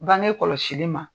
Bange kɔlɔsili ma.